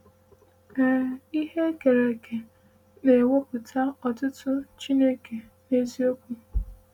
“Ee, ihe e kere eke na-ekwupụta otuto Chineke n’eziokwu!”